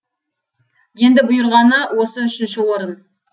енді бұйырғаны осы үшінші орын